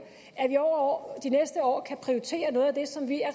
og at de næste år kan prioritere noget af det som vi er